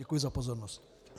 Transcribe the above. Děkuji za pozornost.